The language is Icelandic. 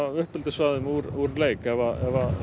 uppeldissvæði úr leik ef